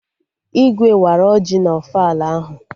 Igwe wara ọjị na ofala ahụ